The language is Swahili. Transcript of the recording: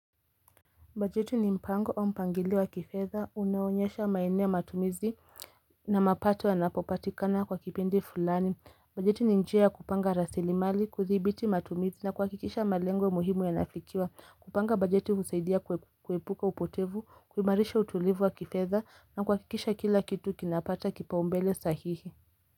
Bajeti ni mpango au mpangilio wa kifedha unao onyesha maeneo ya matumizi na mapato yanapopatikana kwa kipindi fulani bajeti ni njia ya kupanga rasili mali kuthibiti matumizi na kuhakikisha malengo muhimu yanafikiwa kupanga bajeti husaidia kuepuka upotevu kuimarisha utulivu wa kifedha na kuhakikisha kila kitu kinapata kipaumbele sahihi.